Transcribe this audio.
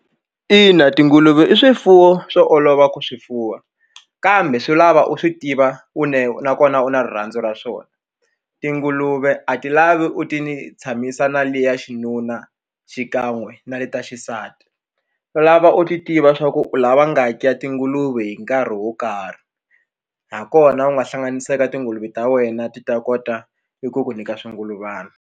Ina tinguluve i swifuwo swo olova ku swi fuwa kambe swi lava u swi tiva une nakona u na rirhandzu ra swona tinguluve a ti lavi u ti tshamisa na liya xinuna xikan'we na le ta xisati lava u ti lava u ti tiva swa ku u lava nga ki ya tinguluve hi nkarhi wo karhi ha kona u nga hlanganisaka tinguluve ta wena ti ta kota i ku ku nyika xingulubyana.